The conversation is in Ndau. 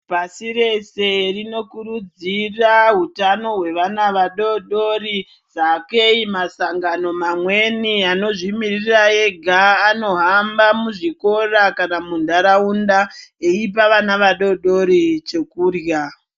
Pashirese rinokurudzira hutano hwevana vadodori sakei masangano mamweni anozvimiririra ega anohamba muzvikora kana muntaraunda eipa vana vadodori chekurya.